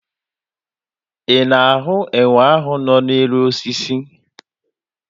Ị na-ahụ enwe ahụ nọ n'elu osisi?